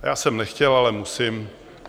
Já jsem nechtěl, ale musím.